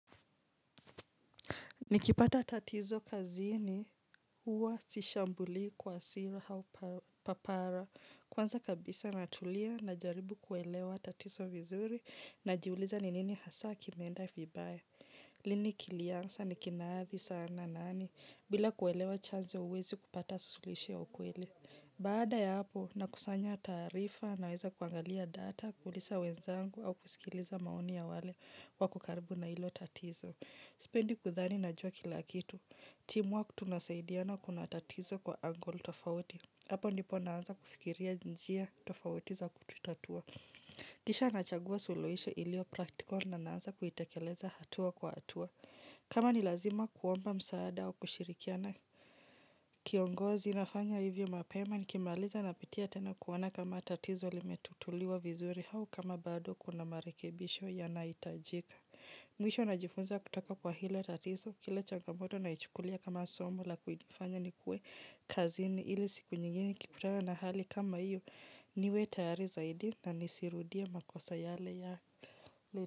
Nikipata tatizo kazini huwa sishambuli kwa hasira au papara. Kwanza kabisa natulia najaribu kuelewa tatizo vizuri, najiuliza ni nini hasa kimeenda vibaya. Lini kilianza nikinaadhi sana nani bila kuelewa chanzo huwezi kupata suluhisho ya ukweli. Baada ya hapo nakusanya taarifa naweza kuangalia data, kuuliza wenzangu au kusikiliza maoni ya wale wako karibu na hilo tatizo. Sependi kudhani najua kila kitu. Timu wa kutunasaidiana kuna tatizo kwa angol tofauti. Hapo ndipo naanza kufikiria njia tofauti za kututatua. Kisha nachagua suluisho ilio practical na naanza kuitekeleza hatua kwa hatua. Kama ni lazima kuomba msaada wa kushirikiana. Kiongozi nafanya hivyo mapema nikimaliza napitia tena kuona kama tatizo limetatuliwa vizuri au kama bado kuna marekebisho yanaitajika. Mwisho najifunza kutaka kwa hile tatizo kile changamoto naichukulia kama somo la kufanya nikue kazini ili siku nyingine nikikutanga na hali kama hiyo niwe tayari zaidi na nisirudie makosa yale ya.